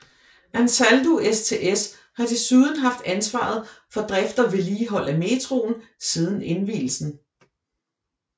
Ansaldo STS har desuden haft ansvaret for drift og vedligehold af metroen siden indvielsen